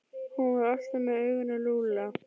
Hún var alltaf með augun á Lúlla.